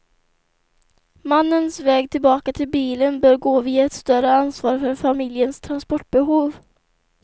Mannens väg tillbaka till bilen bör gå via ett större ansvar för familjens transportbehov.